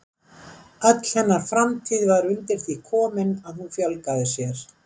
Öll hennar framtíð var undir því komin að hún fjölgaði sér.